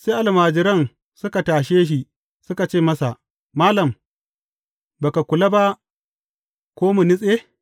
Sai almajiran suka tashe shi suka ce masa, Malam, ba ka kula ba ko mu nutse?